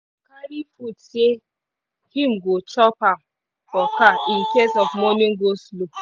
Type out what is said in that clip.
carry food say him go chop am for car incase of morning go-slow